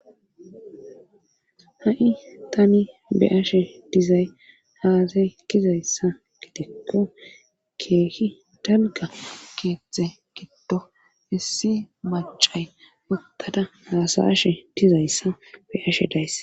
Ha7i tani be ashe dizay haazay kizayssa gitikko keehi dalga keettze giddo issi macay wottada haasa ashe dizayssa be ashe daysse.